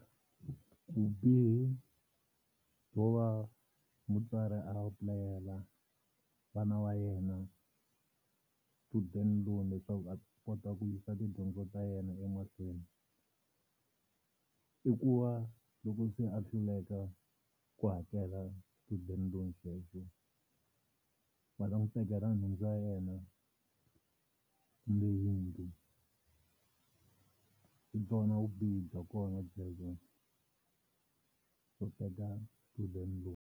Vubihi byo va mutswari a apulayela vana va yena student loan leswaku va kota ku yisa tidyondzo ta yena emahlweni, i ku va loko se a hluleka ku hakela student loan xexo va ta n'wi tekela nhundzu ya yena kumbe yindlu hi byona vubihi bya kona byebyo byo teka student loan.